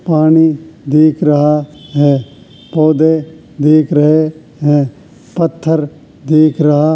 पानी दिख रहा है पौधे दिख रहे हैं पत्थर दिख रहा --